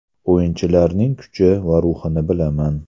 O‘yinchilarning kuchi va ruhini bilaman.